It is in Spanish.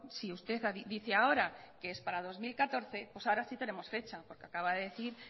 si usted dice ahora que es para dos mil catorce pues ahora sí tenemos fecha porque acaba de decir